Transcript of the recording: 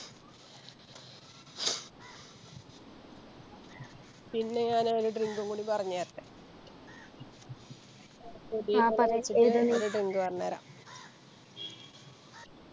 പിന്നെ ഞാന് ഒരു Drink ഉം കൂടെ പറഞ്ഞേരട്ടെ